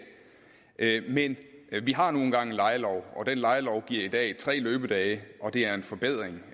men vi har nu engang en lejelov og den lejelov giver i dag tre løbedage og det er en forbedring